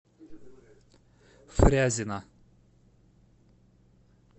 фрязино